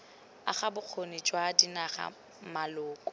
aga bokgoni jwa dinaga maloko